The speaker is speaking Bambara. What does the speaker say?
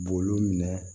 B'olu minɛ